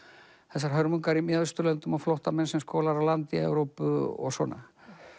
þessar hörmungar í Mið Austurlöndum og flóttamenn sem skolar á land í Evrópu og svona